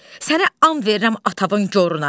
Sənə and verirəm atavın goruna.